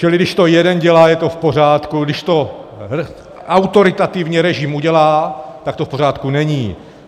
Čili když to jeden dělá, je to v pořádku, když to autoritativní režim udělá, tak to v pořádku není.